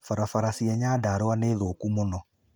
Barabara cia Nyandarũa niithũũku mũno